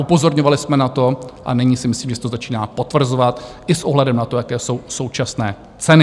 Upozorňovali jsme na to a nyní si myslím, že se to začíná potvrzovat i s ohledem na to, jaké jsou současné ceny.